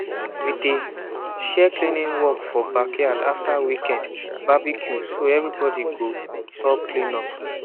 we dey share cleaning work for backyard after weekend barbecue so everybody go help clean up